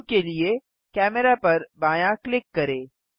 cube के लिए camera पर बायाँ क्लिक करें